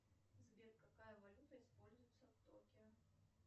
сбер какая валюта используется в токио